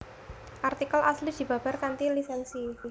Artikel asli dibabar kanthi lisènsi